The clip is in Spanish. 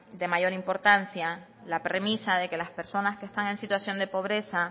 de mayor importancia la premisa de que las personas que están en situación de pobreza